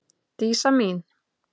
Dísa mín.